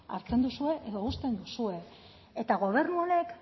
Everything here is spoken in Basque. hartzen duzue edo uzten duzue eta gobernu honek